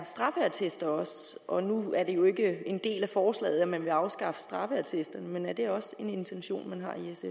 er straffeattester og nu er det jo ikke en del af forslaget at man vil afskaffe straffeattester men er det også en intention man